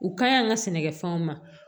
U kaɲi an ka sɛnɛkɛfɛnw ma